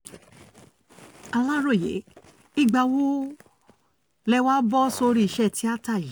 aláròye ìgbà wo lẹ wàá bọ́ sórí iṣẹ́ tíata yìí